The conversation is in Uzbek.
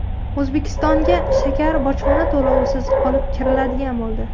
O‘zbekistonga shakar bojxona to‘lovisiz olib kiriladigan bo‘ldi.